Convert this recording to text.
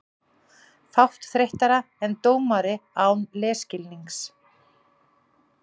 Fátt þreyttara en dómari án leikskilnings.